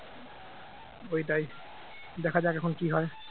ওইটাই দেখা যাক এখন কি হয়